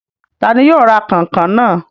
Ta ni yóò ra kànkàn náà?